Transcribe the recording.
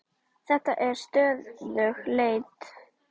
Þetta er stöðug leit!